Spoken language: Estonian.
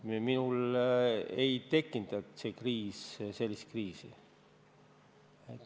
Minul ei tekitanud see kriis sellist kriisi.